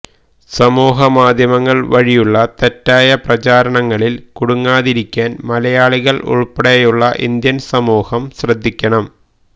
സാമൂഹികമാധ്യമങ്ങൾ വഴിയുള്ള തെറ്റായപ്രചാരണങ്ങളിൽ കുടുങ്ങാതിരിക്കാൻ മലയാളികൾ ഉൾപ്പെടെയുള്ള ഇന്ത്യൻ സമൂഹം ശ്രദ്ധിക്കണം